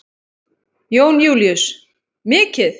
Jón Júlíus: Mikið?